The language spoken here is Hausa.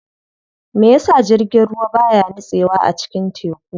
Meyasa jirgin ruwa baya nitsewa a cikin teku?